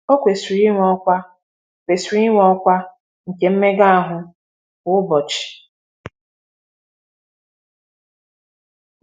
“Ọ kwesịrị inwe ọkwa kwesịrị inwe ọkwa nke mmega ahụ kwa ụbọchị.”